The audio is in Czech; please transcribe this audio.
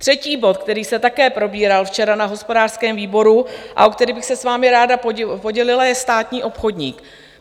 Třetí bod, který se také probíral včera na hospodářském výboru a o který bych se s vámi ráda podělila, je státní obchodník.